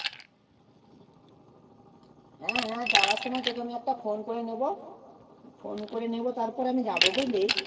হ্যাঁ হ্যাঁ যাওয়ার সময় তোকে আমি একটা phone করে নেবো phone করে নেবো তারপরে আমি যাবো বুঝলি